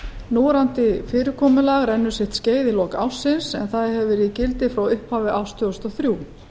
núverandi fyrirkomulag rennur sitt skeið í lok ársins en það hefur verið í gildi frá upphafi árs tvö þúsund og þrjú